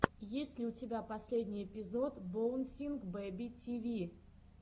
есть ли у тебя последний эпизод боунсинг бэби ти ви